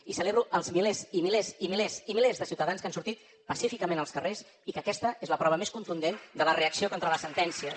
i celebro els milers i milers i milers i milers de ciutadans que han sortit pacíficament als carrers i que aquesta és la prova més contundent de la reacció contra les sentències